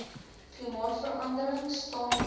klimaatverandering staan bekend